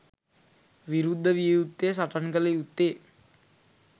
විරුද්ධ විය යුත්තේ, සටන් කළ යුත්තේ